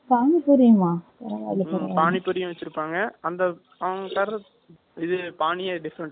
பானி பூரியும் வச்சிருப்பாங்க. அந்த, அவங்க இது பானிய different ஆ இருக்கும். நல்லா இருக்கும்